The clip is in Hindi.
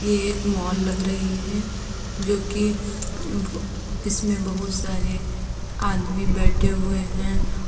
ये एक मॉल लग रही है जो कि इसमें बहोत सारें आदमी बैठे हुए हैं।